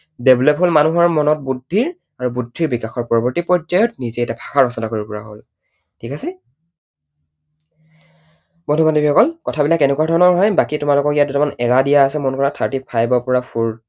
Develope হল, মানুহৰ মনত বুদ্ধিৰ, আৰু বুদ্ধিৰ বিকাশৰ পৰৱৰ্তী পৰ্যায়ত নিজেই এটা ভাষা ৰচনা কৰিব পৰা হল। ঠিক আছে? মই তোমালোকক অকল কথা বিলাক কেনেকুৱা ধৰণৰ হয় তাকেই তোমালোকক দুটামান era দিয়া আছে মন কৰা thirty-five ৰ পৰা